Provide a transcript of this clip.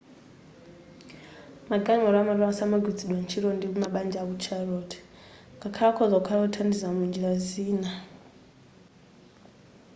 magalimoto amatola samagwiritsidwa ntchito ndi mabanja ku charlotte ngakhale akhoza kukhala othandiza munjira zina